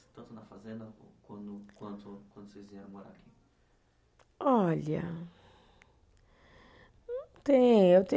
fazenda quando, quanto, quando vocês vieram morar aqui? Olha, não tem